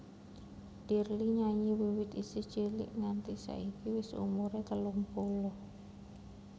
Dirly nyanyi wiwit isih cilik nganti saiki wis umur telung puluh taun